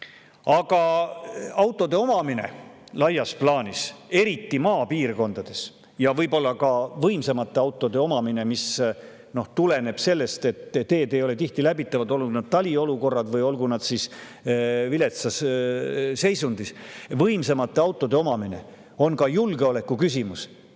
Aga laias plaanis on autode omamine, eriti maapiirkondades, sealhulgas võib-olla ka võimsamate autode omamine, mis tuleneb sellest, et teed ei ole tihti läbitavad, eriti talvel, aga ka muul ajal on need viletsas seisundis, ka julgeoleku küsimus.